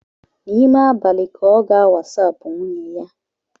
N'ime abalị ka ọ ga-wasapu nwunye ya